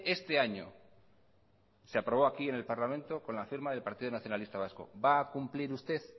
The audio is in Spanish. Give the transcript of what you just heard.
este año se aprobó aquí en el parlamento con la firma del partido nacionalista vasco va a cumplir usted